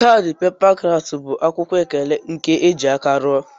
Kadi pepa kraft bu akwụkwọ ekele nke eji aka rụọ.